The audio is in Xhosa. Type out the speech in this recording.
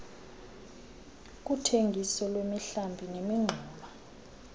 kuthengiso lwemihlambi nemingxuma